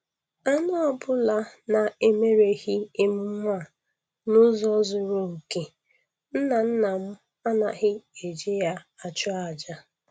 Anụ ọbụla na-emereghị emume a n'ụzọ zuru oke, nnanna m anaghị e ji ya achụ aja